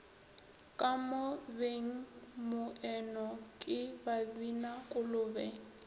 ka mo bengmoeno ke babinakolobe